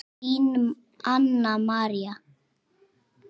Þín, Anna María.